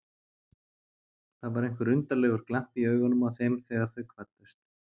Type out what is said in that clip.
Það var einhver undarlegur glampi í augunum á þeim þegar þau kvöddust.